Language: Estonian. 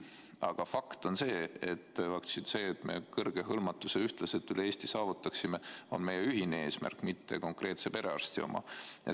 Aga fakt on see, et kõrge hõlmatus ühtlaselt üle Eesti on meie ühine eesmärk, mitte konkreetse perearsti oma.